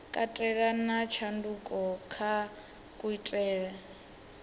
katela na tshanduko kha kuitele